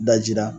Dajira